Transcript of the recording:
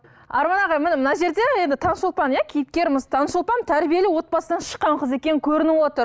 арман аға міне мына жерде енді таңшолпан иә кейіпкеріміз таңшолпан тәрбиелі отбасынан шыққан қыз екені көрініп отыр